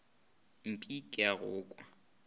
mmipe ke a go kwa